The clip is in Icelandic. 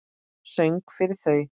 Söng fyrir þau.